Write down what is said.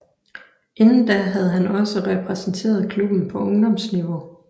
Inden da havde han også repræsenteret klubben på ungdomsniveau